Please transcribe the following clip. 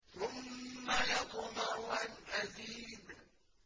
ثُمَّ يَطْمَعُ أَنْ أَزِيدَ